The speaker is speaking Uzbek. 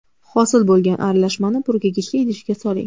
Hosil bo‘lgan aralashmani purkagichli idishga soling.